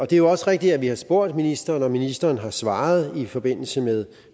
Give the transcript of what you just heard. det er jo også rigtigt at vi har spurgt ministeren og at ministeren har svaret i forbindelse med